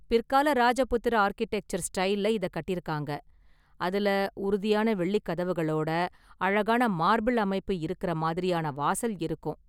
பிற்கால ராஜபுத்திர ஆர்க்கிடெக்சர் ஸ்டைல்ல இத கட்டியிருக்காங்க, அதுல உறுதியான வெள்ளி கதவுகளோட அழகான மார்பிள் அமைப்பு இருக்கற மாதிரியான வாசல் இருக்கும்.